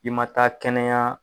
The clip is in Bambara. I ma taa kɛnɛya